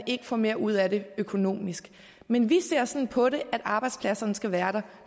ikke får mere ud af det økonomisk men vi ser sådan på det at arbejdspladserne skal være der at